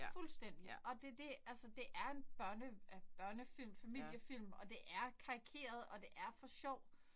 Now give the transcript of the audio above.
Fuldstændig. Og det det altså det er en børne øh børnefilm familiefilm og det er karikeret og det er for sjov